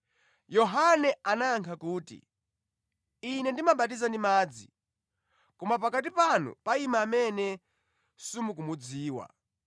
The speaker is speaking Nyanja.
Yohane anayankha kuti, “Ine ndimabatiza ndi madzi, koma pakati panu payima amene simukumudziwa.